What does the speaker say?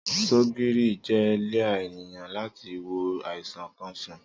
Sọgírì jẹ líà ẹniyan làtí wó àisán kàn sán.